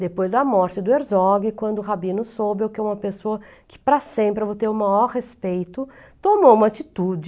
Depois da morte do Herzog, quando Rabino soube que eu era uma pessoa que para sempre eu vou ter o maior respeito, tomou uma atitude